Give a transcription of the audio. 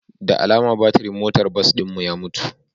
Da alama batirin motar bas ɗin mu ya mutu